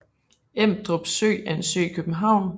Emdrup Sø er en sø i København